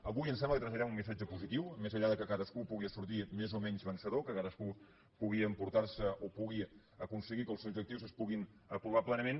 avui em sembla que traslladarem un missatge positiu més enllà que cadascú pugui sortir més o menys vencedor que cadascú pugui aconseguir que els seus objectius es puguin aprovar plenament